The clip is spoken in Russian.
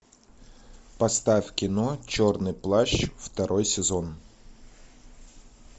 поставь кино черный плащ второй сезон